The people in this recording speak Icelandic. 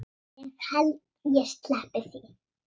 Ég held ég sleppi því.